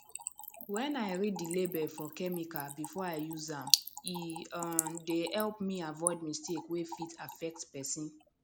wen i read the label for chemical before i use am e um dey help me avoid mistake wey fit affect person